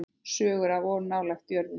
Sögur of nálægt jörðu.